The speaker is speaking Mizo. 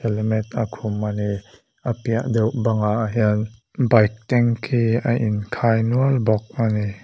helmet a khum a ni a piah deuh ah hian bike tanky a in khai nual bawk a ni.